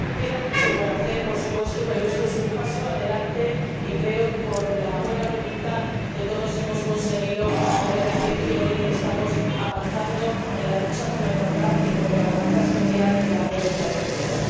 Queda mucho por hacer, por supuesto, pero esto es un paso adelante y creo que, con la buena voluntad de todos, hemos conseguido poder decir que hoy estamos avanzando en la lucha por la igualdad y contra la lacra social de la violencia de género.